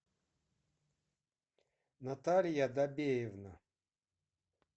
наталья добеевна